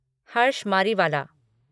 Harsh Mariwala